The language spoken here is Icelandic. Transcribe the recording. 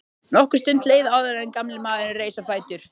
Nokkur stund leið áður en gamli maðurinn reis á fætur.